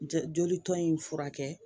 Joli tɔn in furakɛ